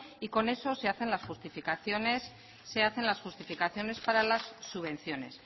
y con eso se hacen las justificaciones para las subvenciones